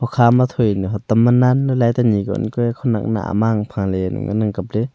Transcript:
kukha ma thoi hatam ma nan ley light ta nyi ko ang kua ee khongyak na mang ang apha ley ngana kap ley.